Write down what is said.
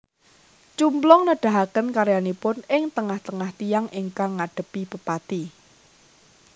Cumplung nedahaken karyanipun ing tengah tengah tiyang ingkang ngadhepi pepati